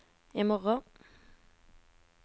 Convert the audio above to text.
imorgen